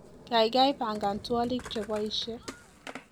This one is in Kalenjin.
kaigai pagan twolik cheboishie